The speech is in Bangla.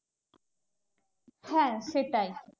হ্যাঁ সেটাই